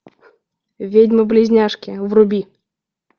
ведьмы близняшки вруби